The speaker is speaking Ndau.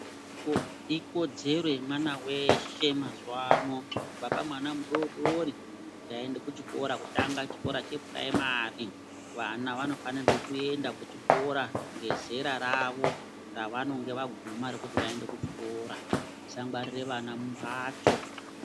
Ikodzero yemwana veshe mazuva ano kubva pamwana mudodoro kuti aende kuchikora kutanga chikora chepuraimari. Vana vanofanirwe kuenda kuchikora ngezera ravo ravanonga vaguma kuchikora musangwarire vana mumhatso.